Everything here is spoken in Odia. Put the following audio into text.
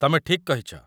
ତମେ ଠିକ୍ କହିଛ